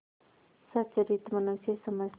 सच्चरित्र मनुष्य समझते